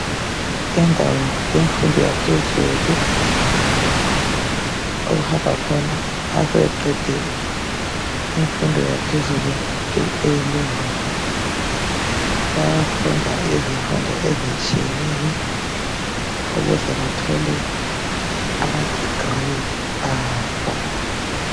Indawo yemfundo yaphezulu okuhamba khona sebeqede imfundo yaphezulu A level. Bayafunda izifundo ezitshiyeneyo ukuze bathole amadegree abo.